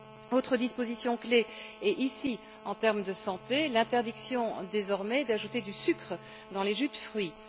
Autre disposition clé, cette fois en termes de santé l'interdiction, désormais, d'ajouter du sucre dans les jus de fruits.